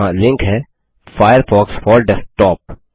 यहाँ लिंक है Firefox four desktop